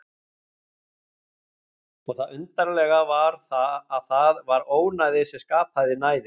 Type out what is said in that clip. Og það undarlega var að það var ónæði sem skapaði næðið.